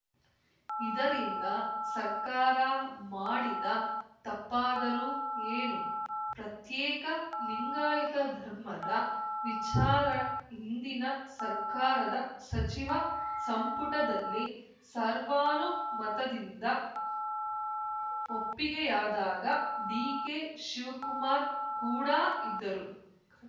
ಇದರಿಂದ ಸರ್ಕಾರ ಮಾಡಿದ ತಪ್ಪಾದರೂ ಏನು ಪ್ರತ್ಯೇಕ ಲಿಂಗಾಯುತ ಧರ್ಮದ ವಿಚಾರ ಹಿಂದಿನ ಸರ್ಕಾರದ ಸಚಿವ ಸಂಪುಟದಲ್ಲಿ ಸರ್ವಾನುಮತದಿಂದ ಒಪ್ಪಿಗೆಯಾದಾಗ ಡಿಕೆಶಿವಕುಮಾರ್‌ ಕೂಡ ಇದ್ದರು